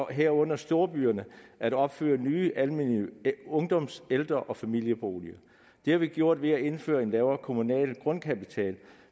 herunder storbyerne at opføre nye almene ungdoms ældre og familieboliger det har vi gjort ved at indføre en lavere kommunal grundkapital